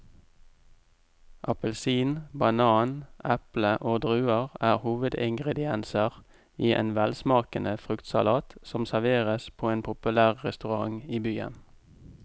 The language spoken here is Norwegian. Appelsin, banan, eple og druer er hovedingredienser i en velsmakende fruktsalat som serveres på en populær restaurant i byen.